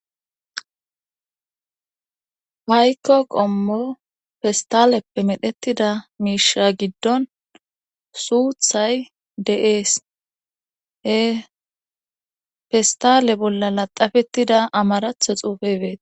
Waykko qommo festaleppe medhettida miisha giddon suuthay de7ees he festale bolla laxafettida amaratha xuufe beeta.